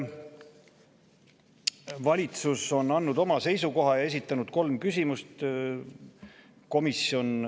Valitsus on andnud oma seisukoha ja esitanud kolm küsimust.